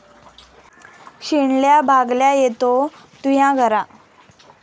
शिणल्या भागल्या येतों तुह्यां घरा ।